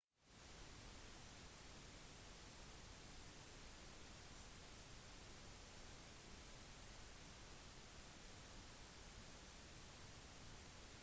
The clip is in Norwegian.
hovedgrunnen til dette fenomenet er resultatet av at de klare drømmene øker tiden mellom rem-tilstander